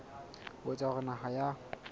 ho etsa hore naha ya